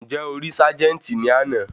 Ǹjẹ́ o rí ságẹ́ńtì ní àná?